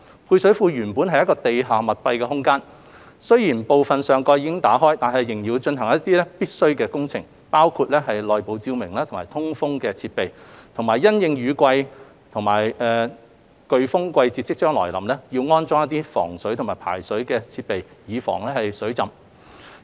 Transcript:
配水庫原本是地下密閉空間，雖然部分上蓋已經打開，但仍要進行一些必須的工程，包括內部照明及通風設施，以及因應雨季及颶風季節將至，安裝防水及排水設施等以防水浸。